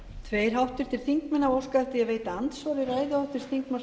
ég bið um að því verði vísað til allsherjarnefndar